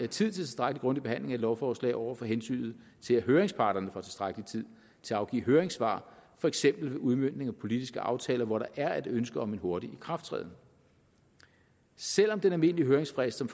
til tilstrækkelig grundig behandling af et lovforslag over for hensynet til at høringsparterne får tilstrækkelig tid til at afgive høringssvar for eksempel ved udmøntning af politiske aftaler hvor der er et ønske om en hurtig ikrafttræden selv om den almindelige høringsfrist som